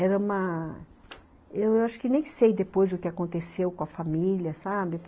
Era uma... Eu acho que nem sei depois o que aconteceu com a família, sabe?